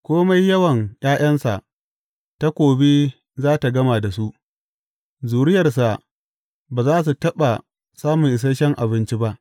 Kome yawan ’ya’yansa, takobi za tă gama da su; zuriyarsa ba za su taɓa samun isashen abinci ba.